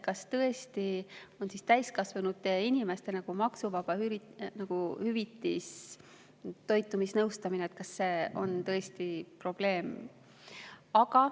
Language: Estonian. Kas tõesti on toidunõustamist täiskasvanud inimestele ja hüvitada seda maksuvabalt, kas see on tõesti probleem?